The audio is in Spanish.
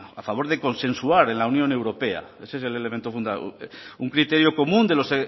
a favor de consensuar en la unión europea ese es el elemento un criterio común de los